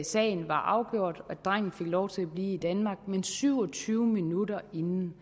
sagen var afgjort og at drengen fik lov til at blive i danmark men syv og tyve minutter inden